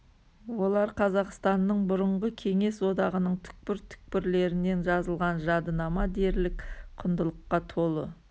олар қазақстаннның бұрынғы кеңес одағының түкпір түкпірлерінен жазылған жадынама дерлік құндылыққа толы